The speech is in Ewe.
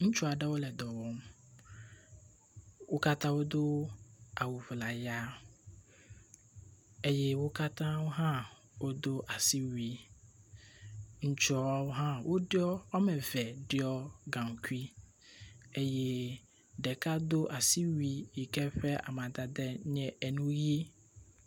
ŋutsuaɖewo le dɔwɔm, wókatã wodó awu ʋlaya eye wókatã hã wodó asiwui ŋutsuawo hã wo ɖio gaŋkui ɖeka dó asiwui yike ƒe amadede nye yi